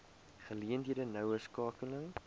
geleenthede noue skakeling